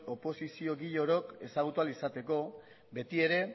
oposiziogile orok ezagutu ahal izateko betiere